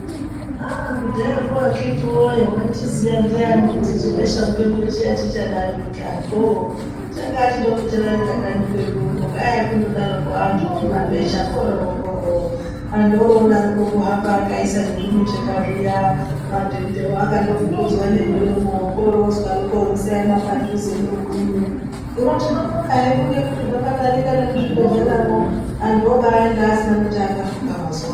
Aaah kudhaya ko akiti woye waichiziya ndiani kuti chebesha mupengo chiya chichadarika oooh!chakachidoko chadarika kanyi kwedu uno kwaiya kundodaroko anhu nemabesha korooookorooo, antu oroodaroko kuhamba akaisa nezvimicheka zviya madhende wo akandofukidzwa nemuromo, oroozwaroko musaema padhuze neumweni ,hino tinobonga hedu ngekuti zvakadarika nemuzvibhehleya mwo anhu obaaenda asina chaakafuka mazuwa ano.